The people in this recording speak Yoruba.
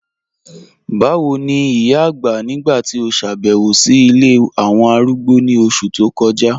Bàwo ni ìyà àgbá nígbà tí o ṣábẹ̀wò sí ńí ilẹ̀ awọn arúgbó ni oṣù tó kọja?